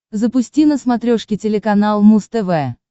запусти на смотрешке телеканал муз тв